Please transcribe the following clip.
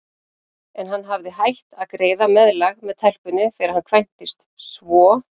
En hann hefði hætt að greiða meðlag með telpunni þegar hann kvæntist, svo